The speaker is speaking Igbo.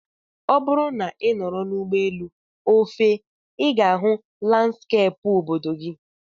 Ọ bụrụ na ị nọrọ n'ụgbọelu, o fee, I ga-ahụ landskeepụ obodo gị